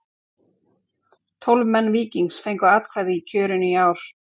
Tólf leikmenn Víkings fengu atkvæði í kjörinu í ár.